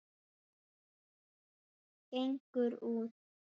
Gengur út.